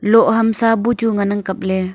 loh hamsa buchu ngan ang kapley.